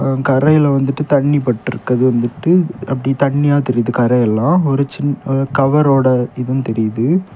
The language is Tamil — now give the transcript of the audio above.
கரையில வந்துட்டு தண்ணி பட்டிருக்குது வந்துட்டு அப்படி தண்ணியா தெரியுது கரையெல்லாம் ஒரு சின் ஒரு கவரோட இதும் தெரியுது.